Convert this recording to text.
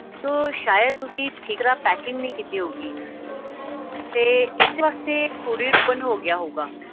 sir ਸ਼ਇਦ ਤੁਸੀਂ ਠੀਕ ਤਰ੍ਹਾਂ packing ਨਹੀਂ ਕੀਤੀ ਹੋਊਗੀ ਤੇ ਇਸੇ ਵਾਸਤੇ courieropen ਹੋ ਗਿਆ ਹੋਊਗਾ